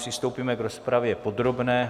Přistoupíme k rozpravě podrobné.